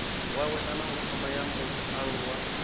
wawe kana thama ya mualuwa